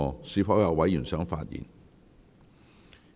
是否有委員想發言？